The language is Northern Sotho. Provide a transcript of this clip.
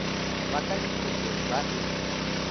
ba ka difokeng ba e